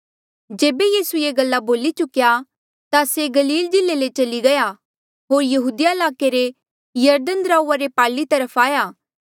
जेबे यीसू ये गल्ला बोली चुक्या ता से गलील जिल्ले ले चली गया होर यहूदिया ईलाके रे यरदन दराऊआ रे पारली तरफ आया